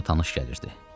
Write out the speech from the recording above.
Yer ona tanış gəlirdi.